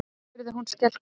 spurði hún skelkuð.